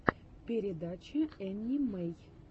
передача энни мэй